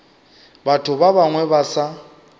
batho ba bangwe ba sa